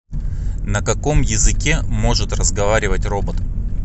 на каком языке может разговаривать робот